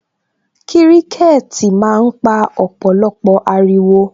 Kiriketi máa ń pa ọ̀pọ̀lọpọ̀ ariwo